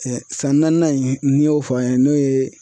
san naaninan in n'i y'o fɔ an ye n'o ye